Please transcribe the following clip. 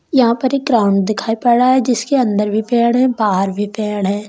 यहां पर एक ग्राउंड दिखाई पड़ रहा है जिसके अंदर भी पेड़ है बाहर भी पेड़ है।